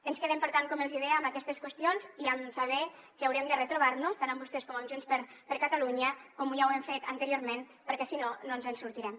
ens quedem per tant com els hi deia amb aquestes qüestions i amb saber que haurem de retrobar nos tant amb vostès com amb junts per catalunya com ja ho hem fet anteriorment perquè si no no ens en sortirem